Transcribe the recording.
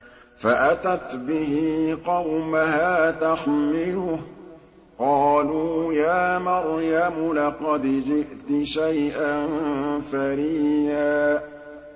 فَأَتَتْ بِهِ قَوْمَهَا تَحْمِلُهُ ۖ قَالُوا يَا مَرْيَمُ لَقَدْ جِئْتِ شَيْئًا فَرِيًّا